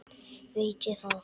veit ég það?